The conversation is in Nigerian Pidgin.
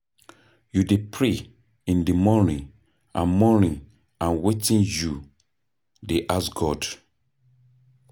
You dey pray in di morning and morning and wetin you dey ask God?